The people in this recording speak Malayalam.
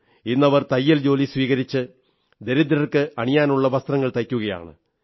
ഇന്നവർ തയ്യൽ ജോലി പഠിച്ച് ദരിദ്രർക്ക് അണിയാനുള്ള വസ്ത്രങ്ങൾ തയ്ക്കുകയാണ്